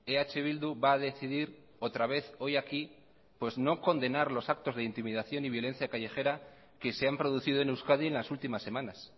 eh bildu va a decidir otra vez hoy aquí pues no condenar los actos de intimidación y violencia callejera que se han producido en euskadi en las últimas semanas